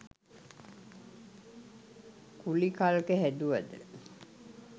ගුලි කල්ක හැදුවද